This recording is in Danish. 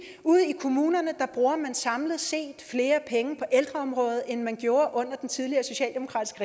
ude i kommunerne bruger man samlet set flere penge på ældreområdet end man gjorde under den tidligere socialdemokratisk